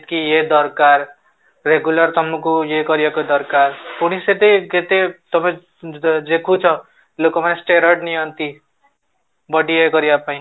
କି ଇଏ ଦରକାର, regular ତମକୁ ଇଏ କରିବାକୁ ଦରକାର ପୁଣି ସେଠି କେତେ ତମେ ଦେଖୁଛ ଲୋକ ମାନେ steroid ନିଅନ୍ତି, body ଇଏ କରିବା ପାଇଁ